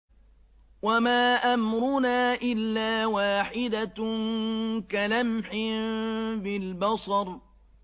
وَمَا أَمْرُنَا إِلَّا وَاحِدَةٌ كَلَمْحٍ بِالْبَصَرِ